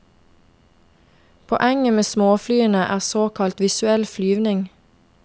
Poenget med småflyene er såkalt visuell flyvning.